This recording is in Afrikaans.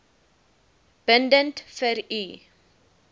bindend vir u